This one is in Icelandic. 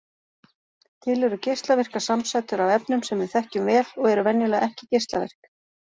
Til eru geislavirkar samsætur af efnum sem við þekkjum vel og eru venjulega ekki geislavirk.